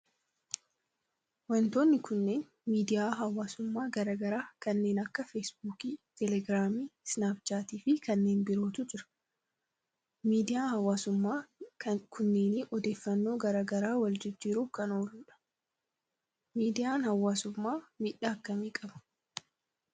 Wantoonni kunneen miidiyaa hawaasummaa garaa garaa kanneen akka feesbuukii, telegraamii, isnaap chaatii fi kanneen birootu jira. Miidiyaan hawaasummaa kunneen odeeffannoo garaa garaa wal jijjiiruf kan ooludha. Miidiyaan hawaasummaa miidhaa akkamii qaba?